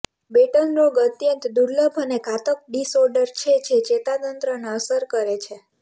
batten રોગ અત્યંત દુર્લભ અને ઘાતક ડિસઓર્ડર છે જે ચેતાતંત્રને અસર કરે છે